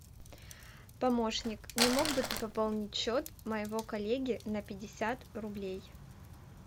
помощник не мог бы ты пополнить счет моего коллеги на пятьдесят рублей